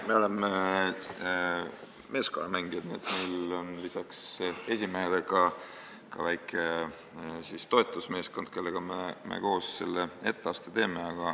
Me oleme meeskonnamängijad, meil on lisaks esimehele ka väike toetusmeeskond, kellega me selle etteaste teeme.